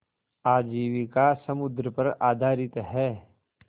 आजीविका समुद्र पर आधारित है